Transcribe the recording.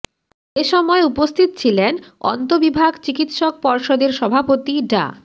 এ সময় উপস্থিত ছিলেন অন্তঃবিভাগ চিকিৎসক পর্ষদের সভাপতি ডা